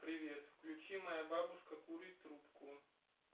привет включи моя бабушка курит трубку